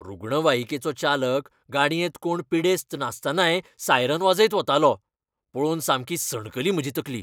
रुग्णवाहिकेचो चालक गाडयेंत कोण पिडेस्त नासतनाय सायरन वाजयत वतालो. पळोवन सामकी सणकली म्हजी तकली.